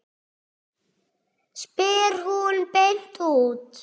spyr hún beint út.